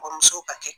Kɔmuso ba kɛ